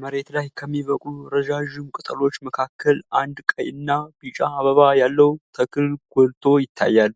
መሬት ላይ ከሚበቅሉ ረዣዥም ቅጠሎች መካከል አንድ ቀይና ቢጫ አበባ ያለው ተክል ጎልቶ ይታያል።